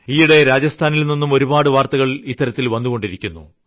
ഈയിടെ രാജസ്ഥാനിൽനിന്നും ഒരുപാട് വാർത്തകൾ ഇത്തരത്തിൽ വന്നുകൊണ്ടിരിക്കുന്നു